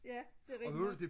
ja det er rigtigt nok